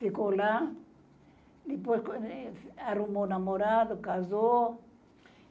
Ficou lá, depois arrumou namorado, casou.